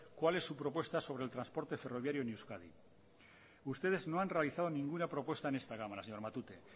cuál es su propuesta sobre el transporte ferroviario en euskadi ustedes no han realizado ninguna propuesta en esta cámara señor matute